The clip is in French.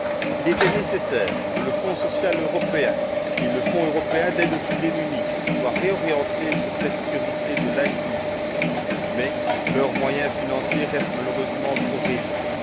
Il était nécessaire que le Fonds social européen et le Fonds européen d'aide aux plus démunis soient réorientés vers cette priorité de l'inclusion mais leurs moyens financiers restent malheureusement trop réduits.